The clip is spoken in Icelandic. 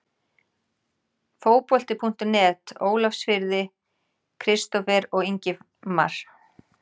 Fótbolti.net Ólafsfirði- Kristófer og Ingimar